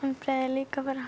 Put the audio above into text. líka bara